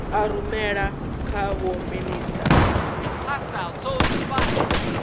a rumela kha vho minisita